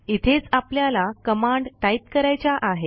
इथेच आपल्याला command type करायच्या आहेत